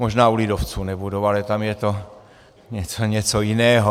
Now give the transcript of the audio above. Možná u lidovců nebudou, ale tam je to něco jiného.